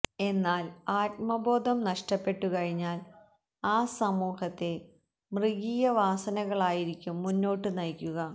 എന്നാല് ആത്മബോധം നഷ്ടപ്പെട്ടു കഴിഞ്ഞാല് ആ സമൂഹത്തെ മൃഗീയവാസനകളായിരിക്കും മുന്നോട്ടു നയിക്കുക